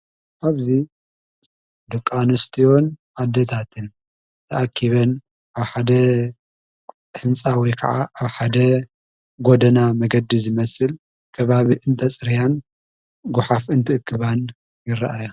ኣብዙይ ድቃንስትዮን ኣደታትን ተኣኪበን ኣብ ሓደ ሕንፃዊ ከዓ ኣብ ሓደ ጐደና መገዲ ዝመስል ገባብ እንተጽርያን ጉኃፍ እንት እክባን ይረአያ።